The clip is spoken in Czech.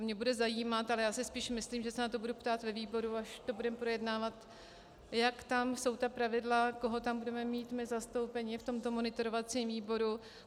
A mě bude zajímat - ale já si spíš myslím, že se na to budu ptát ve výboru, až to budeme projednávat -, jak tam jsou ta pravidla, koho tam budeme mít my zastoupeni v tomto monitorovacím výboru.